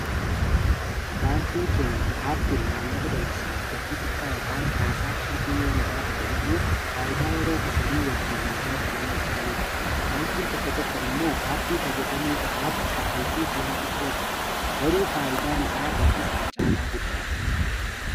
baankiin keenyaa appiin maallaqa dabarsinuuf gatii xiqqaa ykn tiraansaakshiinii fee yoo nu gaafate iyyuu faayidaa yeroo qusannuu wajjiin wal bira qabnee ilaaluu qabna. baankiin tokko tokko immoo aappii fayyadamuu qofaaf kaffaltii ji'aa xiqqoo gaafatu. garuu faayidaan isaa gatii sana caalaa guddaadha.